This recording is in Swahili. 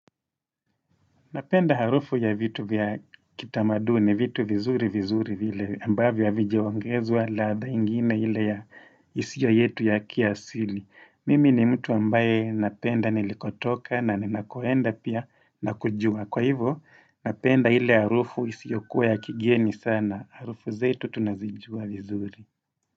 Napenda harufu ya vitu vya kitamaduni vitu vizuri vizuri vile ambavyo havijaongezwa laaghaa ingine ile ya isio yetu ya kiasili. Mimi ni mtu ambaye napenda nilikotoka na ninakoenda pia na kujua. Kwa hivyo, napenda ile harufu isio kuwa ya kigeni sana. Harufu zetu tunazijua vizuri.